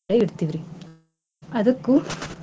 ಇಡ್ತಿವರೀ ಅದಕ್ಕೂ.